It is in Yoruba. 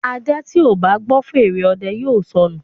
Aja tíó bá gbó fèrè òde yóò sọnu.